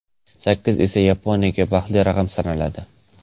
Sakkiz esa Yaponiyada baxtli raqam sanaladi.